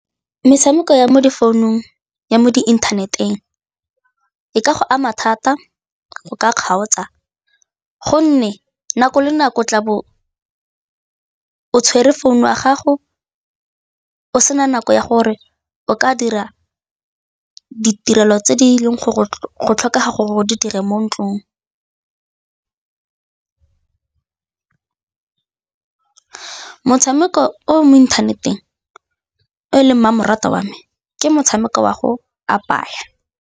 Metshameko ya mo difounung, ya mo diinthaneteng e ka go ama thata go ka kgaotsa gonne nako le nako tla bo o tshwere founu ya gago o sena nako ya gore o ka dira ditirelo tse di leng go go tlhokega gore di dira mo ntlong. Motshameko o mo inthaneteng o e leng mmamoratwa wa me ke motshameko wa go apaya.